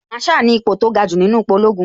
Màrsháà ni ipo tó ga jù nínú ipò ológun